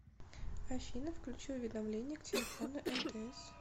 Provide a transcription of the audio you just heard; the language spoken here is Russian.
афина включи уведомления к телефону мтс